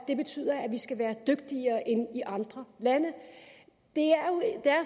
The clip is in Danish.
det betyder at vi skal være dygtigere end i andre lande det er